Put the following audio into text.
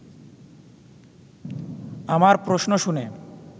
আমার প্রশ্ন শুনে